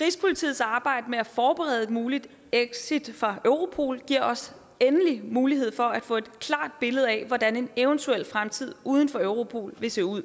rigspolitiets arbejde med at forberede et muligt exit fra europol giver os endelig mulighed for at få et klart billede af hvordan en eventuel fremtid uden for europol vil se ud